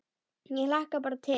Ég hlakka bara til